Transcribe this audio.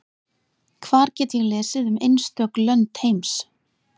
Hvar get ég lesið um einstök lönd heims?